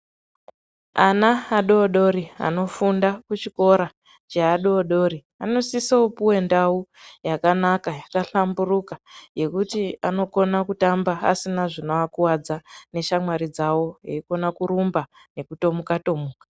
Ana adodori anofunda kuchikora cheadodori anosiso puve ndau yakanaka yakahlamburuka. Yekuti anokona kutamba asina zvinoakuvadza neshamwari dzavo eikona kurumba nekutomuka-tomuka.